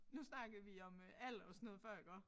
Nu snakkede vi om øh alder og sådan noget før iggå